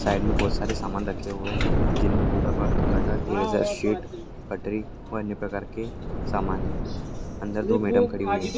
Side में बहुत सारे सामान रखे हुये है व अन्य प्रकार के सामान है और अंदर दो मैडम खड़ी हुई हैं।